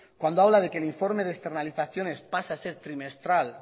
cuando habla de que el informe de externalizaciones pasa a ser trimestral